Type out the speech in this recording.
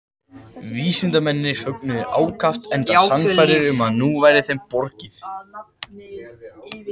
Vísindamennirnir fögnuðu ákaft enda sannfærðir um að nú væri þeim borgið.